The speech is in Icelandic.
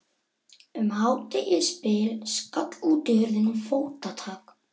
Um hádegisbil skall útihurðin og fótatak